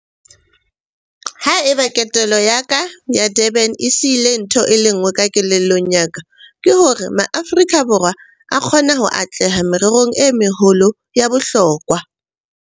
Ha eba ketelo ya ka ya Durban e sihile ntho e le nngwe ka kelellong ya ka, ke hore Maaforika Borwa a kgona ho atleha mererong e meholo ya bohlokwa.